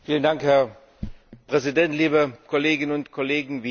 Herr Präsident, liebe Kolleginnen und Kollegen!